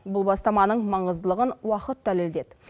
бұл бастаманың маңыздылығын уақыт дәлелдеді